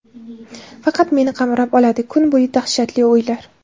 Faqat meni qamrab oladi Kuni bo‘yi dahshatli o‘ylar.